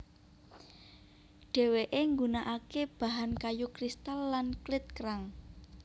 Dhewe nggunakake bahan kayu kristal lan klit kerang